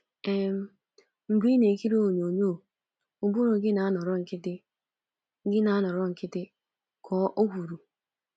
um “Mgbe ị na-ekiri onyonyo, ụbụrụ gị na-anọrọ nkịtị,” gị na-anọrọ nkịtị,” ka O kwuru.